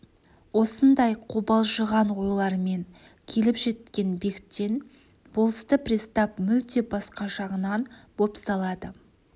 осындай қобалжыған ойлармен келіп жеткен бектен болысты пристав мүлде басқа жағынан бопсалады